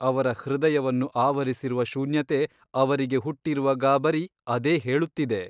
ಅವರ ಹೃದಯವನ್ನು ಆವರಿಸಿರುವ ಶೂನ್ಯತೆ ಅವರಿಗೆ ಹುಟ್ಟಿರುವ ಗಾಬರಿ ಅದೇ ಹೇಳುತ್ತಿದೆ.